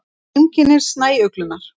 Heimkynni snæuglunnar.